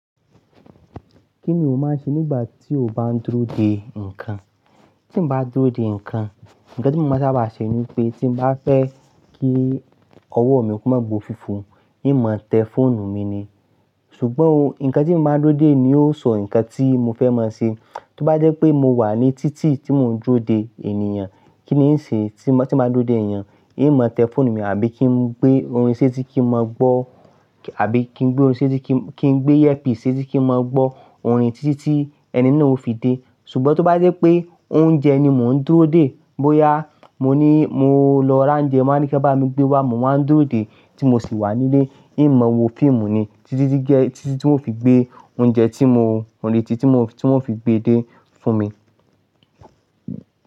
Kí ni o máa ń ṣe nígbà tí o bá ń dúró dè ǹkan? Tí mo bá dúró dè ǹkan, nǹkan tí mo máa sábà ṣe ni pé tí mo bá fẹ́ kí ọwọ́ mi kú mọ́ gbó fífò, hiń máa tẹ fóònù mi ni. Ṣùgbọ́n o, nǹkan tí mo báa ń dúró dè ni ó sọ nǹkan tí mo fẹ́ máa ṣe. Tí ó bá jẹ́ pé mo wà ní títì tí mò ń dúró dè ènìyàn, kí ni ní ṣe? Tí mo bá dúró dè ènìyàn, hiń máa tẹ fóònù mi àbí kí n gbé orin sétí kì í máa gbọ́ àbí kí n gbé orin sétí kí n gbé ẹ́pì sétí kì í máa gbọ́ orin títí tí ẹni náà ó fi dé. Ṣùgbọ́n tí ó bá jẹ́ pé oúnjẹ ni mò ń dúró dè, bóyá mo ní mo lọ ra oúnjẹ, máa ní kí ẹ bá mi gbé wá, mo máa ń dúró dè tí mo sì wà nílé, hiń máa wo fíìmù ni títí tí ge, títí tí wọ́n fi gbé oúnjẹ tí mo lòdì sí tí mo, tí wọ́n fi gbé dé fún mi.